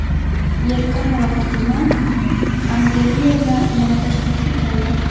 Yelkanova Fatima Xangeriyevna yana Toshkentga keldi!.